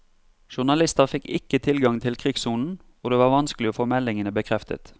Journalister fikk ikke tilgang til krigssonen, og det var vanskelig å få meldingene bekreftet.